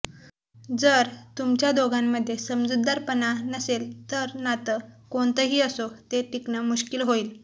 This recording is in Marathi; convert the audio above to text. जर तुमच्या दोघांमध्ये समजूतदारपणा नसेल तर नातं कोणतंही असो ते टिकणं मुश्किल होईल